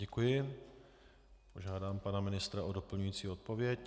Děkuji, požádám pana ministra o doplňující odpověď.